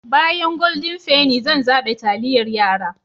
Bayan Golden penny zan zaɓe taliyar yara.